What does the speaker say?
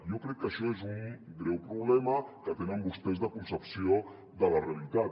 jo crec que això és un greu problema que tenen vostès de concepció de la reali·tat